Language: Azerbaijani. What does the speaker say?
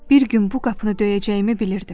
Bir gün bu qapını döyəcəyimi bilirdim.